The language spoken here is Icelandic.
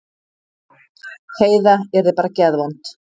Heiða yrði bara geðvond.